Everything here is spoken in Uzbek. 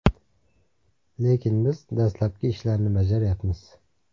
Lekin biz dastlabki ishlarni bajaryapmiz.